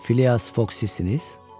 Filias Foksiz?